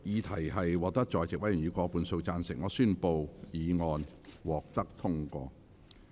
由於議題獲得在席委員以過半數贊成，他於是宣布議案獲得通過。